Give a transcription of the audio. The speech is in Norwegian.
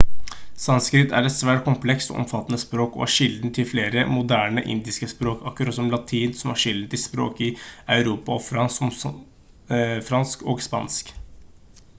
sanskrit er et svært komplekst og omfattende språk og er kilden til flere moderne indiske språk akkurat som latin som er kilden til språk i europa som fransk og spansk